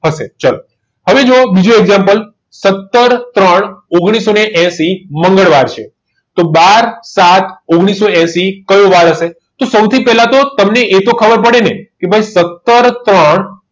હશે ચલો હવે જુઓ બીજો example સત્તર ત્રણ ઓગણીસોએસી મંગળવાર છે તો બાર સાત ઓગણીસોએસી કયો વાર હશે તો સૌથી પહેલા તો તમને એ તો ખબર પડી ને કે ભાઈ સત્તર ત્રણ